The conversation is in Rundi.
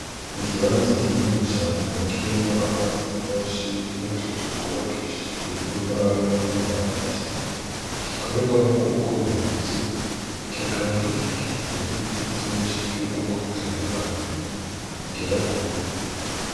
Ikibanza kinini cane kirimwo amazi menshi n'utuzu twubakishijwe imbaho n'amabati gikorerwamwo ubworozi, kikaba gikikijwe n'ibiti vyinshi vy'ubwoko butandukanye bigera kure.